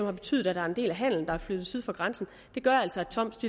har betydet at der er en del af handelen der er flyttet syd for grænsen gør altså at toms